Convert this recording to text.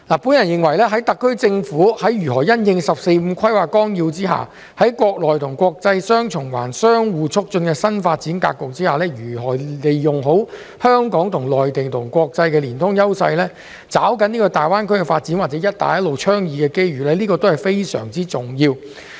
我認為在特區政府在如何因應《十四五規劃綱要》之下國內國際雙循環相互促進的新發展格局，利用好香港與內地及國際的連通優勢，抓緊大灣區發展及"一帶一路"倡議的機遇，都是非常重要的。